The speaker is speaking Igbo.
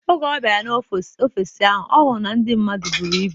Oge ọ bịara n'ọfịs ahụ, ọ hụrụ na ndị mmadụ buru ibu.